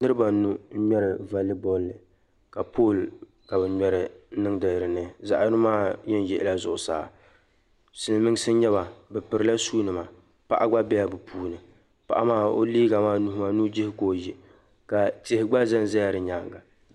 niriba anu n ŋmeri valibolli ka poli ka bɛ ŋmeri n nindi dipuuni yini maa yen yiɣi zuɣsaa silimiinsi n nyɛba bɛ pirila suunima paɣa gba bela bɛ puuni paɣa maa o liiga maa nuhi maa nujihi ka o ye ka tihi gba zanza ya di nyaaŋa